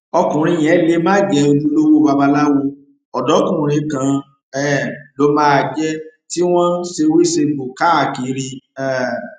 ọkùnrin yẹn lè má jẹ ojúlówó babaláwo ọdọkùnrin kan um ló máa jẹ tí wọn ń ṣèwésegbò káàkiri um